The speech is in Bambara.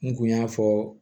N kun y'a fɔ